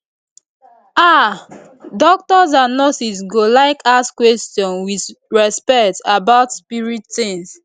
ah doctors and nurses go like ask questions with respect about spirit tings